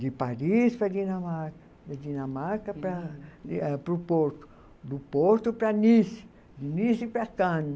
De Paris para Dinamarca, de Dinamarca para para o Porto, do Porto para Nice, de Nice para Cannes.